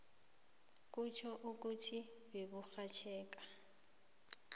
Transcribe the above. kutjho ukuthi beburhatjheka